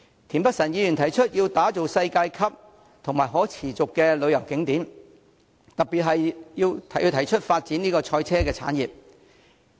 田北辰議員提出要打造世界級及可持續的旅遊景點，特別是發展賽車產業。